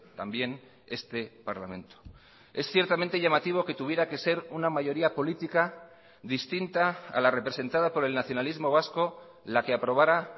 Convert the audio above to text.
también este parlamento es ciertamente llamativo que tuviera que ser una mayoría política distinta a la representada por el nacionalismo vasco la que aprobará